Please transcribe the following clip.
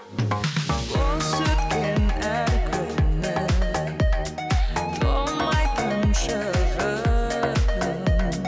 бос өткен әр күнім толмайтын шығын